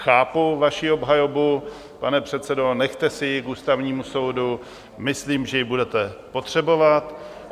Chápu vaši obhajobu, pane předsedo, nechte si ji k Ústavnímu soudu, myslím, že ji budete potřebovat.